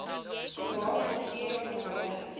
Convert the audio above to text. bewaar natuurlike bronne